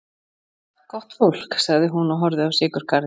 Gott fólk, sagði hún og horfði á sykurkarið.